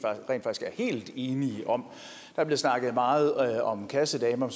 helt enige om der blev snakket meget om kassedamer